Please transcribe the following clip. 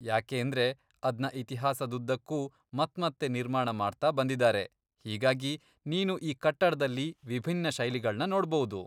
ಯಾಕೇಂದ್ರೆ ಅದ್ನ ಇತಿಹಾಸದುದ್ದಕ್ಕೂ ಮತ್ಮತ್ತೆ ನಿರ್ಮಾಣ ಮಾಡ್ತಾ ಬಂದಿದಾರೆ, ಹೀಗಾಗಿ, ನೀನು ಆ ಕಟ್ಟಡ್ದಲ್ಲಿ ವಿಭಿನ್ನ ಶೈಲಿಗಳ್ನ ನೋಡ್ಬೌದು.